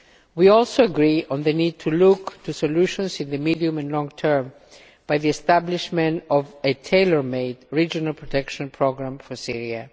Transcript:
We also agree on the need to look for solutions in the medium and long term by establishing a tailor made regional protection programme for Syria.